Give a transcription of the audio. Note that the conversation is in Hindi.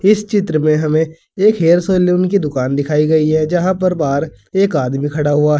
इस चित्र में हमें एक हेयर सैलून की दुकान दिखाई गई है जहां पर बाहर एक आदमी खड़ा हुआ है।